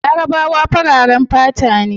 Larabawa fararen fata ne